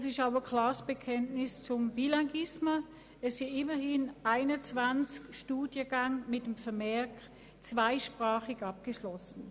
Das ist auch ein klares Bekenntnis zum Bilinguisme, es gibt immerhin 21 Studiengänge mit dem Vermerk «zweisprachig abgeschlossen».